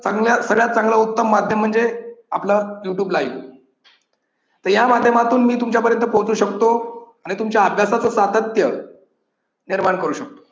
अजून यात सगळ्यात चांगले उत्तम माध्यम म्हणजे आपल youtube line तर या माध्यमातून मी तुमच्यापर्यंत पोहोचू शकतो आणि तुमच्या अभ्यासाच सातत्य निर्माण करू शकतो.